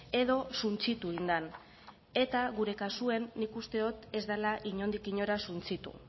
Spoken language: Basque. edo suntsitu egin den eta gure kasuen nik uste dot ez dela inondik inora suntsitu